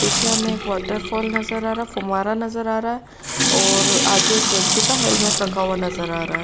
पीछे हमें एक वॉटरफॉल नज़र आ रहा है फुव्वारा नज़र आ रहा है और आगे उस व्यक्ति का हेलमेट रखा हुआ नज़र आ रहा है।